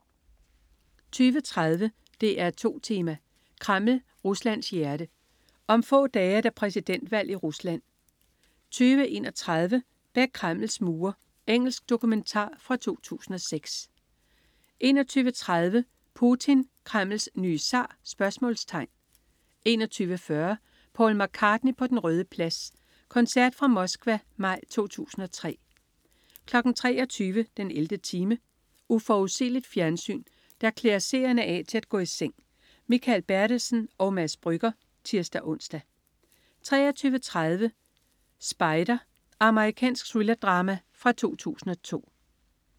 20.30 DR2 Tema: Kreml, Ruslands hjerte. Om få dage er der præsidentvalg i Rusland 20.31 Bag Kremls mure. Engelsk dokumentar fra 2006 21.30 Putin. Kremls nye zar? 21.40 Paul McCartney på Den Røde Plads. Koncert fra Moskva, maj 2003 23.00 den 11. time. Uforudsigeligt fjernsyn, der klæder seerne af til at gå i seng. Mikael Bertelsen og Mads Brügger (tirs-ons) 23.30 Spider. Amerikansk thrillerdrama fra 2002